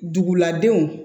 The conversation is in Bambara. Dugu ladenw